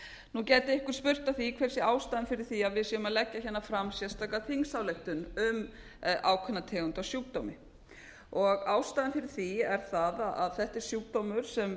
nú gæti einhver spurt að því hver sé ástæðan fyrir því að við séum að leggja fram sérstaka þingsályktun um ákveðna tegund af sjúkdómi ástæðan fyrir því er sú að þessi sjúkdómur sem